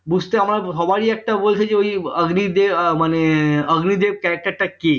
বুঝতে আমার সবারই একটা অগ্নিদেব মানে অগ্নিদেব character টা কি